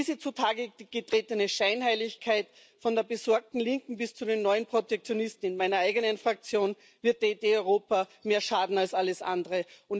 Diese zutage getretene Scheinheiligkeit von der besorgten Linken bis zu den neuen Protektionisten in meiner eigenen Fraktion wird der Idee Europa mehr schaden als alles andere.